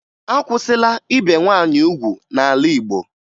Akwụsịla ibe nwaanyị ugwu n'ala Igbo